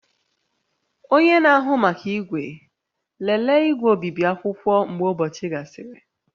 Onye na-ahụ maka igwe, lelee igwe obibi akwụkwọ mgbe ụbọchị gasịrị